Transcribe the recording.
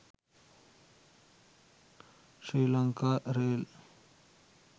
sri lanka rail